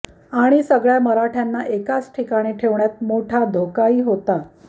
आणि सगळ्या मराठय़ांना एकाच ठिकाणी ठेवण्यात मोठा धोकाही होता